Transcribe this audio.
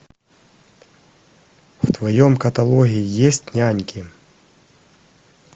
в твоем каталоге есть няньки